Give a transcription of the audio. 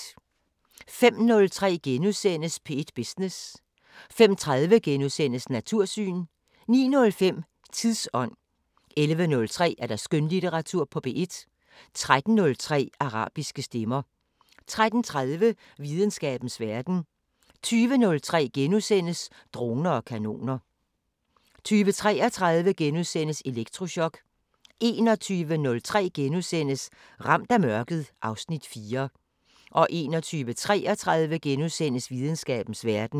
05:03: P1 Business * 05:30: Natursyn * 09:05: Tidsånd 11:03: Skønlitteratur på P1 13:03: Arabiske Stemmer 13:30: Videnskabens Verden 20:03: Droner og kanoner * 20:33: Elektrochok * 21:03: Ramt af mørket (Afs. 4)* 21:33: Videnskabens Verden *